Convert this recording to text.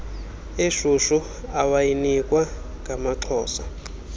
eshushu awayinikwa ngamaxhosa